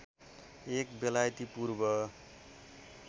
एक बेलायती पूर्व